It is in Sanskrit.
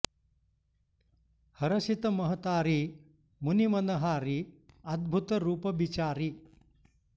हरषित महतारी मुनि मन हारी अद्भुत रूप बिचारी